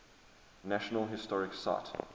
national historic site